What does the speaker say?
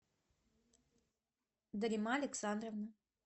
дарима александровна